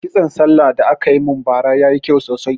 Kitson sallah da aka mun ba ra yayi kyau sosai